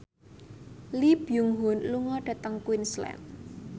Lee Byung Hun lunga dhateng Queensland